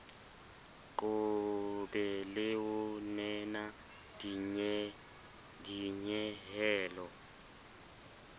qobe le ho nena dinyehelo